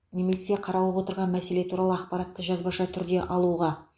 немесе қаралып отырған мәселе туралы ақпаратты жазбаша түрде алуға